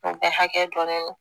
N tɛ hakɛ dɔn ne don